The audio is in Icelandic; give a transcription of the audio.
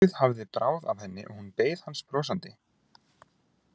Nokkuð hafði bráð af henni og hún beið hans brosandi.